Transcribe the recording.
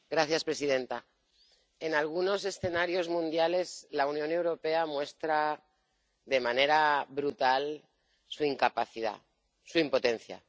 Señora presidenta, en algunos escenarios mundiales la Unión Europea muestra de manera brutal su incapacidad, su impotencia.